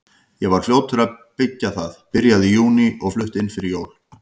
Ég var fljótur að byggja það, byrjaði í júní og flutti inn fyrir jól.